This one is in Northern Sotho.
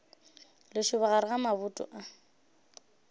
lešoba gare ga maboto a